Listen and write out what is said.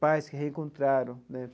Pais que reencontraram né.